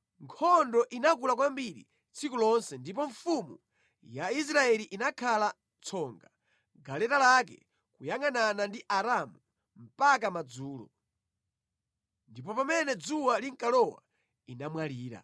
Nkhondo inakula kwambiri tsiku lonse, ndipo mfumu ya Israeli inakhala tsonga mʼgaleta lake kuyangʼanana ndi Aaramu mpaka madzulo. Ndipo pamene dzuwa linkalowa inamwalira.